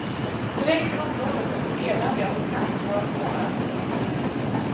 Terrängen i området är så eländig att det knappt går att gå där.